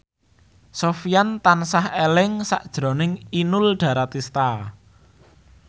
Sofyan tansah eling sakjroning Inul Daratista